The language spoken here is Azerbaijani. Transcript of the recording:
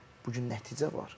Bu gün nəticə var.